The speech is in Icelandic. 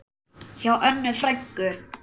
Hjá Önnu frænku.